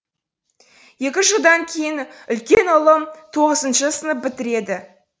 екі жылдан кейін үлкен ұлым тоғызыншы сынып бітіреді